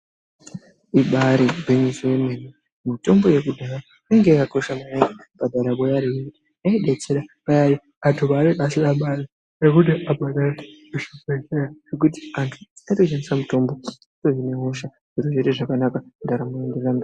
Ibaari gwinyiso yemene mene mitombo yekudhaya yanga yakakosha maningi mundaramo yeanthu yaidetsera anthu paanenge asina mari yekuti abhadhare zvibehlera. Anhtu aitoshandisa mitombo yepamba otomwa otoite zvakanaka ndaramo yotoenda mberi.